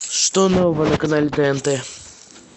что нового на канале тнт